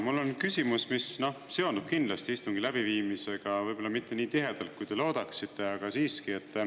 Mul on küsimus, mis seondub kindlasti istungi läbiviimisega, võib-olla mitte nii tihedalt kui te loodaksite, aga siiski.